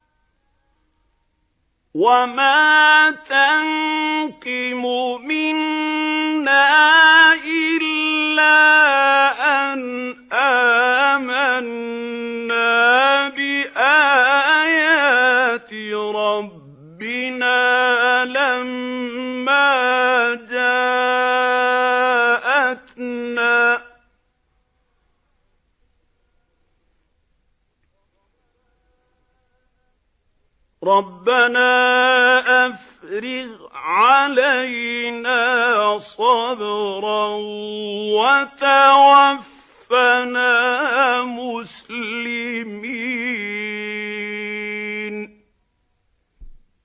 وَمَا تَنقِمُ مِنَّا إِلَّا أَنْ آمَنَّا بِآيَاتِ رَبِّنَا لَمَّا جَاءَتْنَا ۚ رَبَّنَا أَفْرِغْ عَلَيْنَا صَبْرًا وَتَوَفَّنَا مُسْلِمِينَ